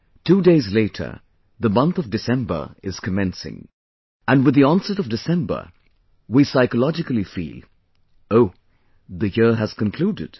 Two days later, the month of December is commencing...and with the onset of December, we psychologically feel "O...the year has concluded